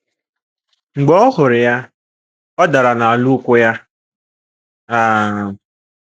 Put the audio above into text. Mb͕e ọ huru ya, ọ dara n'ala n'ụ́kwụ́ ya. um